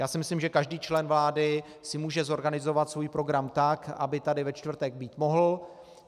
Já si myslím, že každý člen vlády si může zorganizovat svůj program tak, aby tady ve čtvrtek být mohl.